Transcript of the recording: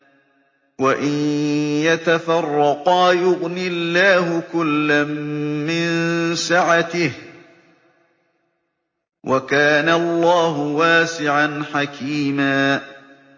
وَإِن يَتَفَرَّقَا يُغْنِ اللَّهُ كُلًّا مِّن سَعَتِهِ ۚ وَكَانَ اللَّهُ وَاسِعًا حَكِيمًا